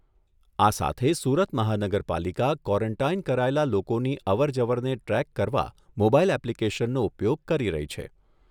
આ સાથે સુરત મહાનગરપાલિકા ક્વોરેન્ટાઇન કરાયેલા લોકોની અવરજવરને ટ્રેક કરવા મોબાઇલ એપ્લીકેશનનો ઉપયોગ કરી રહી છે.